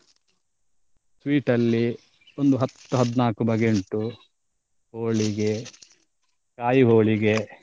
Sweet ಅಲ್ಲಿ ಒಂದು ಹತ್ತು ಹದ್ನಾಲ್ಕು ಬಗೆ ಉಂಟು ಹೋಳಿಗೆ ಕಾಯಿ ಹೋಳಿಗೆ.